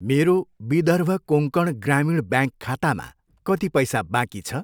मेरो विदर्भ कोङ्कण ग्रामीण ब्याङ्क खातामा कति पैसा बाँकी छ?